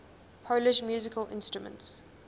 polish musical instruments